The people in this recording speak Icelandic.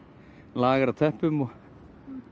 lager af teppum og